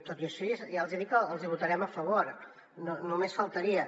tot i així ja els hi dic que els hi votarem a favor només faltaria